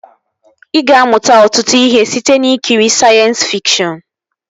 Ị ga-amụta ọtụtụ ihe site n'ikiri sayensị fikshọn